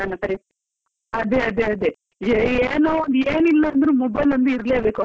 ಅದೆ ಅದೆ ಅದೆ, ಏ ಏನೋ ಏನ್ ಇಲ್ಲದಿದ್ರೂ mobile ಒಂದು ಇರ್ಬೇಕು ಹತ್ರ.